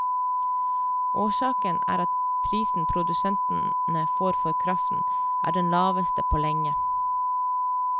Årsaken er at prisen produsentene får for kraften er den laveste på lenge.